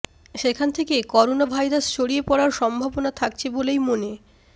সেখান থেকে করোনাভাইরাস ছড়িয়ে পড়ার সম্ভবনা থাকছে বলেই মনে